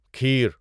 کھیر